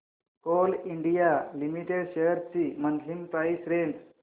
Coal India limited shares ची monthly price range